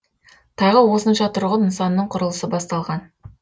тағы осынша тұрғын нысанның құрылысы басталған